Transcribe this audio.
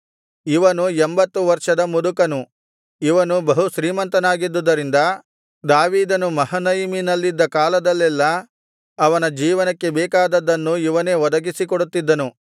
ಇವನು ಎಂಬತ್ತು ವರ್ಷದ ಮುದುಕನು ಇವನು ಬಹು ಶ್ರೀಮಂತನಾಗಿದ್ದುದರಿಂದ ದಾವೀದನು ಮಹನಯಿಮಿನಲ್ಲಿದ್ದ ಕಾಲದಲ್ಲೆಲ್ಲಾ ಅವನ ಜೀವನಕ್ಕೆ ಬೇಕಾದದ್ದನ್ನು ಇವನೇ ಒದಗಿಸಿಕೊಡುತ್ತಿದ್ದನು